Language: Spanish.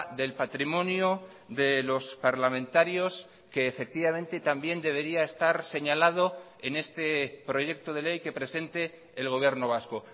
del patrimonio de los parlamentarios que efectivamente también debería estar señalado en este proyecto de ley que presente el gobierno vasco